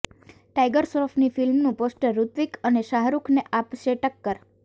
tiger શ્રોફની ફિલ્મનું poster Hrithik અને શાહરૂખને આપશે ટક્કર